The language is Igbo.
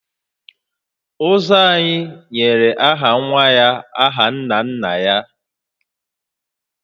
Ụzọ anyị nyere aha nwa ya aha nna nna ya